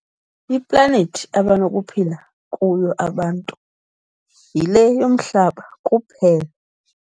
Iplanethi abanokuphila kuyo abantu yile yomhlaba kuphela.